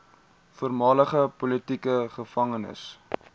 voormalige politieke gevangenes